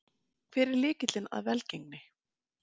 Hver er lykillinn að velgengninni?